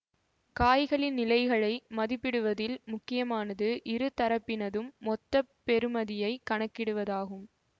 காய்களின் நிலைகளை மதிப்பிடுவதில் முக்கியமானது இரு தரப்பினதும் மொத்த பெறுமதியைக் கணக்கிடுவதாகும்